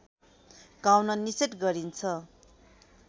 गाउन निषेध गरिन्छ